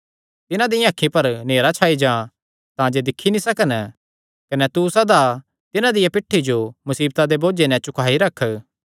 तिन्हां दियां अखीं पर नेहरा छाई जां तांजे दिक्खी नीं सकन कने तू सदा तिन्हां दिया पिठ्ठी जो मुसीबतां दे बोझे नैं झुकाई रख